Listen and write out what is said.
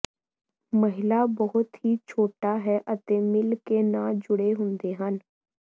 ਮਹਿਲਾ ਬਹੁਤ ਹੀ ਛੋਟਾ ਹੈ ਅਤੇ ਮਿਲ ਕੇ ਨਾ ਜੁੜੇ ਹੁੰਦੇ ਹਨ